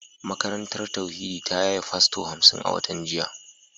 Makarantar tauhidi ta yaye fasto hamsin a watan jiya